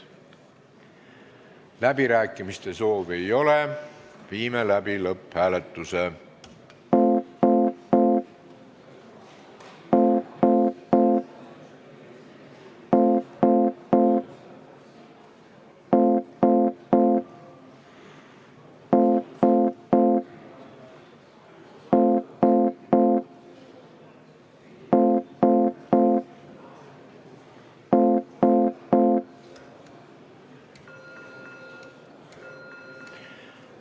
Läbirääkimiste soovi ei ole, viime läbi lõpphääletuse.